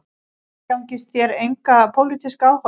Umgangist þér enga pólitíska áhugamenn